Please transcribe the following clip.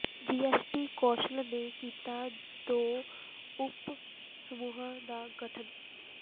GST council ਨੇ ਕੀਤਾ ਦੋ ਉਪ ਸਮੂਹਾਂ ਦਾ ਗਠਨ